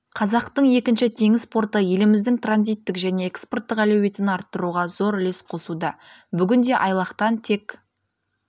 қазақтың екінші теңіз порты еліміздің транзиттік және экспорттық әлеуетін арттыруға зор үлес қосуда бүгінде айлақтан тек